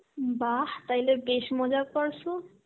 বাহঃ তাইলে বেশ মজা করসো.